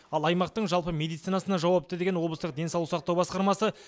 ал аймақтың жалпы медицинасына жауапты деген облыстық денсаулық сақтау басқармасы